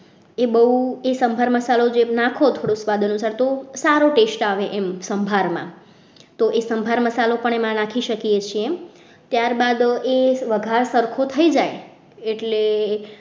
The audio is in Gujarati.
એ બહુ એ સંભાર મસાલો જે નાખો થોડોક સ્વાદ અનુસાર તો સારો test આવે એમ સંભારમાં તો એ સંભાર મસાલો પણ એમાં નાખી શકીએ છીએ ત્યારબાદ એ વઘાર સરખો થઈ જાય એટલે એ બહુ